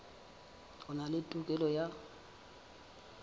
a na le tokelo ya